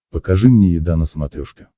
покажи мне еда на смотрешке